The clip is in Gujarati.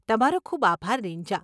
તમારો ખૂબ આભાર રીન્જા.